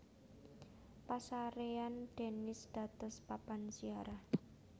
Pasarèyan Denis dados papan ziarah